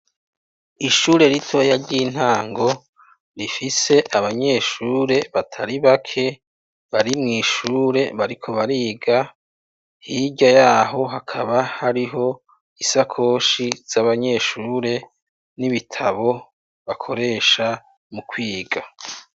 Ishure ritoya ry'intango rifise abanyeshure batari bake bari mw'ishure bariko bariga hirya yaho hakaba hariho isakoshi z'abanyeshure n'ibitabo bakoresha mu kwiga.